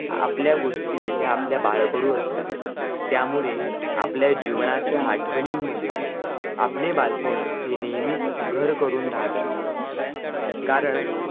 आपल्या गोष्टी ह्या आपल्या बाळकडू असतात त्यामुळे आपल्या जीवनाच्या आठवणीनं मध्ये आपले बालपण हे नेहमीच घर करून राहत असते कारण